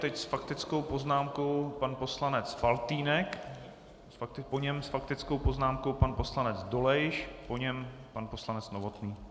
Teď s faktickou poznámkou pan poslanec Faltýnek, po něm s faktickou poznámkou pan poslanec Dolejš, po něm pan poslanec Novotný.